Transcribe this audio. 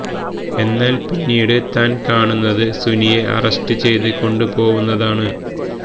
എന്നാല് പിന്നീട് താന് കാണുന്നത് സുനിയെ അറസ്റ്റ് ചെയ്ത് കൊണ്ടു പോവുന്നതാണ്